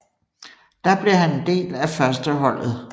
Der blev han en del af førsteholdet